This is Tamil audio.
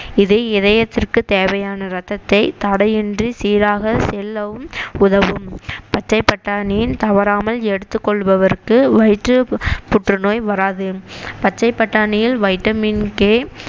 இது இதயத்திற்கு தேவையான ரத்தத்தை தடையின்றி சீராக செல்லவும் உதவும் பச்சை பட்டாணியை தவறாமல் எடுத்துக் கொள்பவருக்கு வயிற்றுப் புற்றுநோய் வராது பச்சைப் பட்டாணியில் வைட்டமின் கே